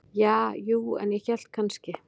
Ja, jú, en ég hélt kannski.